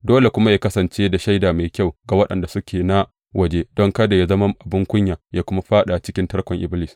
Dole kuma yă kasance da shaida mai kyau ga waɗanda suke na waje, don kada yă zama abin kunya yă kuma fāɗa cikin tarkon Iblis.